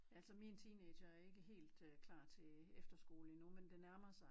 Altså min teenager er ikke helt øh klar til efterskole endnu men det nærmer sig